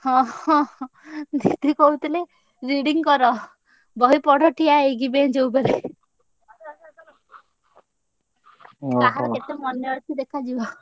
ହଁ ହଁ ହଁ ଦିଦି କହୁଥିଲେ reading କର ବହି ପଢ ଠିଆ ହେଇକି bench ଉପରେ। କାହାର କେତେ ମନେ ଅଛି ଦେଖାଯିବ।